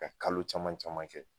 Ka kalo caman caman kɛ